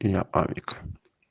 я алик